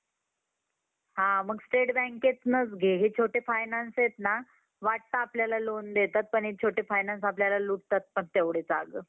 मजबूत इमारती साठी मजबूत पाया हवा. असतो त्या~ त्याप्रमाणे, या~ या यशस्वी होण्यासाठी ही मजबूत पायाची नि~ नितांत आवश्यकता असते. हा पाया म्हणजे आपला दृष्टिकोन किंवा मनोवृत्ती होय.